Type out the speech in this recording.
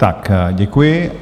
Tak děkuji.